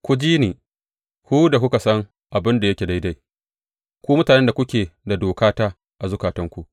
Ku ji ni, ku da kuka san abin da yake daidai, ku mutanen da kuke da dokata a zukatanku.